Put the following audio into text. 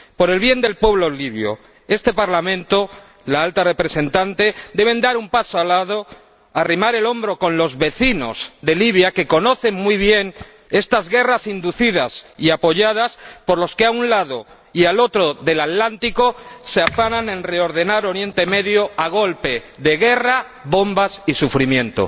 Por el bien del pueblo libio, este Parlamento y la Alta Representante deben dar un paso adelante y arrimar el hombro con los vecinos de Libia, que conocen muy bien estas guerras inducidas y apoyadas por los que a un lado y al otro del Atlántico se afanan en reordenar Oriente Próximo a golpe de guerra, bombas y sufrimiento.